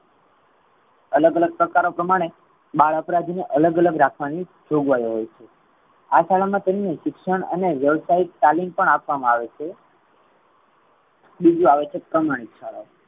અલગ અલગ પ્રકારો પ્રમાણે બાળ અપરાધી ને અલગ અલગ રાખવાની જોગવાઈઓ હોઈ છે. આ શાળા મા તમને શિક્ષણ અને વ્યવસાય તાલીમ પણ આપવામા આવે છે. બીજું આવે છે પ્રમાણિક શાળા ઓ